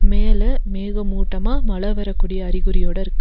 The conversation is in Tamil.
மேல மேகமூட்டமா மழ வரக்கூடிய அறிகுறியோட இருக்கு.